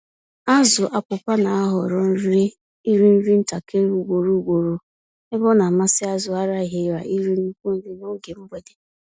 Azụ Apụpa n'ahọrọ iri-nri ntakịrị ugboro ugboro, ebe ọnamasị azụ Araghịra iri nnukwu nri n'oge mgbede.